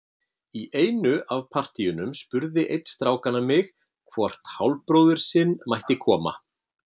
Í einu af partíunum spurði einn strákanna mig hvort hálfbróðir sinn mætti koma.